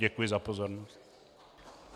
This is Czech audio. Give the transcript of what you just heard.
Děkuji za pozornost.